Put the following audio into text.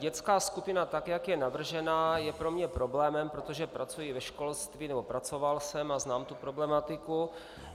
Dětská skupina, tak jak je navržena, je pro mě problémem, protože pracuji ve školství, nebo pracoval jsem, a znám tu problematiku.